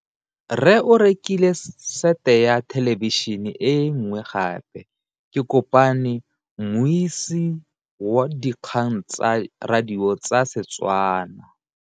Rre o rekile sete ya thêlêbišênê e nngwe gape. Ke kopane mmuisi w dikgang tsa radio tsa Setswana.